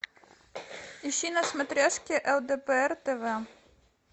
ищи на смотрешке лдпр тв